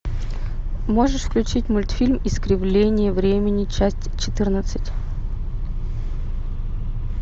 можешь включить мультфильм искривление времени часть четырнадцать